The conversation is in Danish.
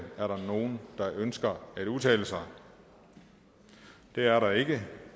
er der nogen der ønsker at udtale sig det er der ikke